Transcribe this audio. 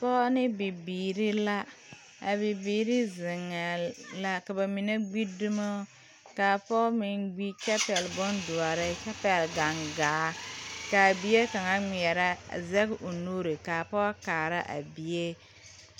Pɔge ne bibiiri la a bibiiri seŋɛɛ la ka ba mine gbidumo ka a pɔge meŋ gbi kyɛ pɛgle bondoɔre kyɛ pɛgle gaŋgaa ka a bie kaŋa ŋmeɛrɛ a a gaŋgaa zɛge o nuuri ka a pɔge kaara a bie.